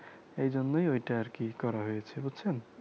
এই জন্যই ওইটা আরকি করা হয়েছে বুঝছেন